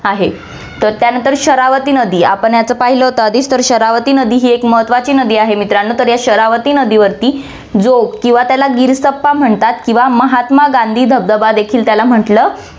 आहे. त्यानंतर शरावती नदी, आपण याचं पहिलं होतं आधी, तर शरावती नदी ही एक महत्वाची नदी आहे मित्रांनो, तर या शरावती नदीवरती जोग किंवा त्याला गिरसप्पा म्हणतात किंवा महात्मा गांधी धबधबा देखील त्याला म्हंटलं जा~